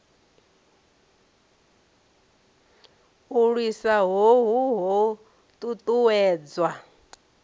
u lwisa hohu ho ṱuṱuwedzwa